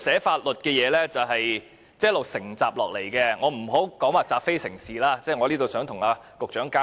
法律草擬是一直承襲下來的，我並非說這是習非成是，我只想與局長交流。